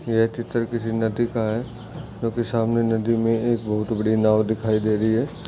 यह चित्र किसी नदी का है जो की सामने नदी मे है बहुत बड़ी नाव दिखाई दे रही है।